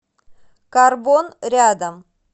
карбон рядом